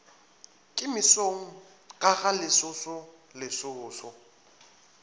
ke mesong ka galesoso lesoso